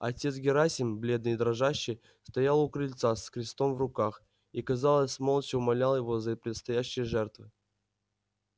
отец герасим бледный и дрожащий стоял у крыльца с крестом в руках и казалось молча умолял его за предстоящие жертвы